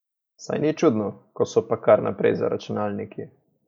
Saj ni čudno, ko so pa kar naprej za računalniki.